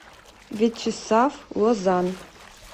вячеслав лозан